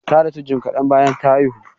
Ta rasu jim kadan bayan ta haihu.